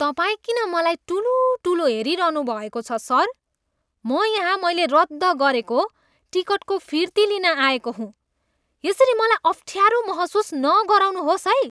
तपाईँ किन मलाई टुलुटुलु हेरिरहनुभएको छ सर? म यहाँ मैले रद्द गरेको टिकटको फिर्ती लिन आएको हुँ। यसरी मलाई अफ्ठ्यारो महसुस नगराउनुहोस् है!